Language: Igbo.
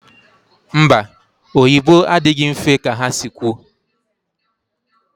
Mba, oyibo adịghị mfe ka ha si kwu